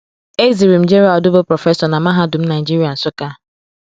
Ezirim Gerald bụ prọfesọ na Mahadum Nigeria, Nsukka.